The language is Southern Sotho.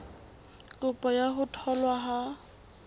kopo ya ho tholwa ha